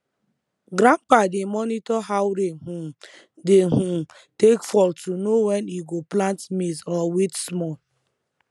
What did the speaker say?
grandpa dey monitor how rain um dey um take fall to know when e go plant maize or wait small